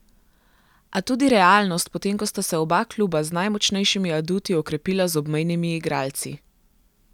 A tudi realnost, potem ko sta se oba kluba z najmočnejšimi aduti okrepila z obmejnimi igralci.